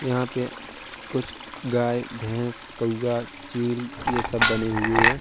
यहाँ पे कुछ गाय भैंस कौआ चील ये सब बने हुए हैं।